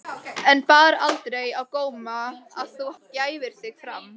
En bar aldrei á góma að þú gæfir þig fram?